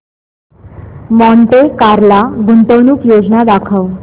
Monte Carlo गुंतवणूक योजना दाखव